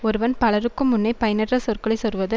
ஒருவன் பலருக்கும் முன்னே பயனற்ற சொற்களை சொல்வது